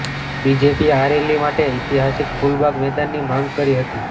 BJP આ rally માટે ઐતિહાસિક ફૂલબાગ મેદાનની માંગ કરી હતી